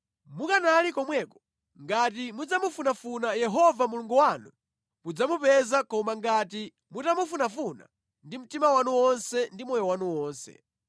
Mukanali komweko, ngati mudzamufunafuna Yehova Mulungu wanu mudzamupeza koma ngati mutamufunafuna ndi mtima wanu wonse ndi moyo wanu wonse.